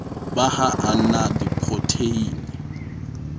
ba ha a na diprotheine